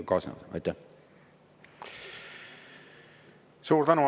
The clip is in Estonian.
Suur tänu!